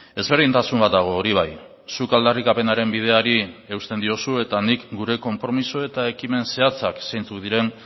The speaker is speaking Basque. ezberdintasun bat dago hori bai zuk aldarrikapenaren bideari eusten diozu eta nik gure konpromiso eta ekimen zehatzak zeintzuk diren